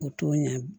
O t'o ɲɛ